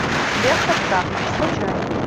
лента птаха скачай